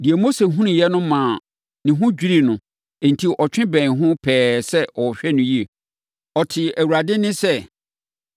Deɛ Mose hunuiɛ no maa ne ho dwirii no enti ɔtwe bɛn ho pɛɛ sɛ ɔhwɛ no yie. Ɔtee Awurade nne sɛ,